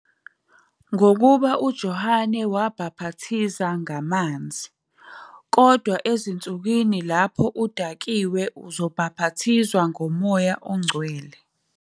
Ngokuba uJohane wabhapathiza ngamanzi, kodwa ezinsukwini lapho udakiwe uzobhapathizwa ngoMoya oNgcwele.